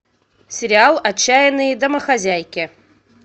сериал отчаянные домохозяйки